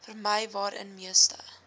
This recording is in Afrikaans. vermy waarin meeste